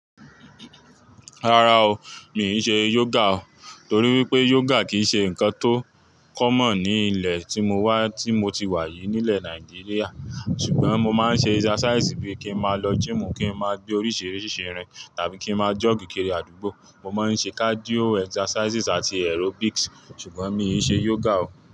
Rárá o, mi i ṣe yoga o, torí wípé yoga kì í ṣe ǹkan tó common ní ilẹ̀ tí mo wà, tí mo ti wà yìí, nílẹ̀ Nàìjíríà. Ṣùgbọ́n mo máa ń ṣe exercise bíi kí n máa lọ gym kí n máa gbé oríṣìíríṣìí irin tàbí kí n máa jog kiri àdúgbò. Mo máa ń ṣe cardio exercises àti aerobics ṣùgbọ́n mi ò ṣe yoga o.